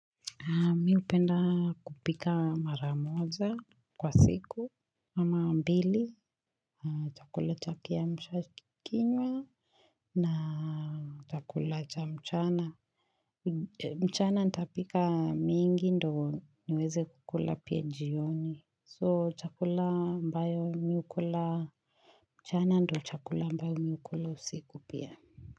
Mimi hupenda kupika mara moja kwa siku, ama mbili, chakula cha kiamshakinywa na chakula cha mchana. Mchana nitapika mingi ndio niweze kukula pia jioni. So chakula ambayo mimi hukula mchana ndio chakula ambayo mimi hukula usiku pia.